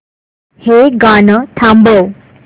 हे गाणं थांबव